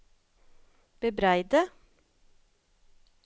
bebreide